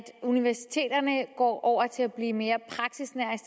universiteterne går over til at blive mere praksisnære